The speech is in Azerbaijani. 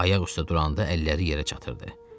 Ayaq üstə duranda əlləri yerə çatırdı.